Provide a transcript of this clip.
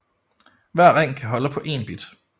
Hver ring kan holde på én bit